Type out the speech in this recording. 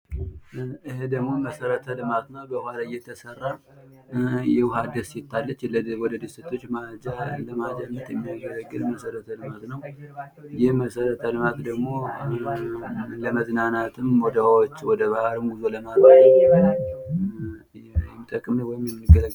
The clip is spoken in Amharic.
ይህ ደግሞ መሰረተ ልማት ነው ። በውሃ ላይ የተሰራ የውሃ ደሴት አለች ወደ ደሴቶች መኽጃ ለመሄጃነት የሚያገለግል መሰረተ ልማት ነው ። ይህ መሰረተ ልማት ደግሞ ለመዝናናትም ወደ ባህሩ ጉዞ ለመጎዝ የሚጠቅም ነው ወይም የሚያገለግል ነው ።